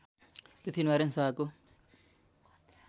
पृथ्वीनारायण शाहको